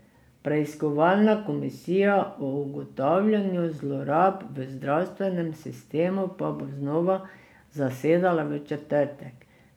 Preiskovalna komisija o ugotavljanju zlorab v zdravstvenem sistemu pa bo znova zasedala v četrtek.